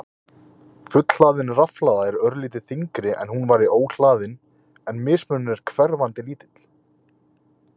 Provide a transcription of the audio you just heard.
Fullhlaðin rafhlaða er örlítið þyngri en hún væri óhlaðin en mismunurinn er hverfandi lítill.